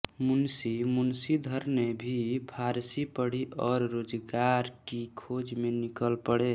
मुंशी वंशीधर ने भी फारसी पढ़ी और रोजगार की खोज में निकल पड़े